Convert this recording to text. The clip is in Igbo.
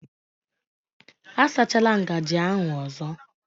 A sachala ngaji ahụ ọzọ